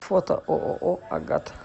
фото ооо агат